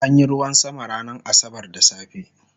an Yi ruwan sama ranar asabar da safe